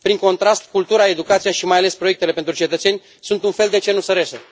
Prin contrast, cultura, educația și, mai ales, proiectele pentru cetățeni sunt un fel de cenușărese.